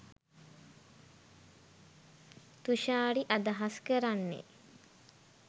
තුශාරි අදහස් කරන්නෙ